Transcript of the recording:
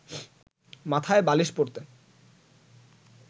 মাথায় বালিশ পড়তে